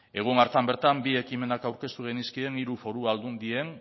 egun hartan bertan bi ekimenak aurkeztu genizkien hiru foru aldundien